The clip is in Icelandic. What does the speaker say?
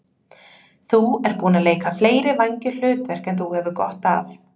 Þú ert búinn að leika fleiri vængjuð hlutverk en þú hefur gott af.